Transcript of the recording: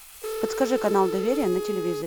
подскажи канал доверие на телевизоре